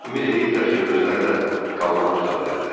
Ümid eləyirdilər ki, özləri də kalmar tuta bilərlər.